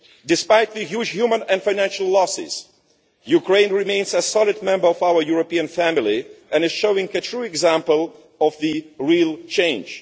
Despite the huge human and financial losses, Ukraine remains a solid member of our European family and is showing a true example of real change.